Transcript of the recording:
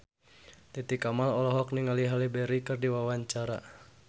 Titi Kamal olohok ningali Halle Berry keur diwawancara